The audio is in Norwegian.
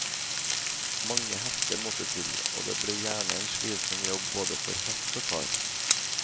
Mange hester måtte til, og det ble gjerne en slitsom jobb både for hest og kar.